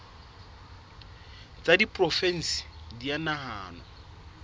tsa diporofensi di a nahanwa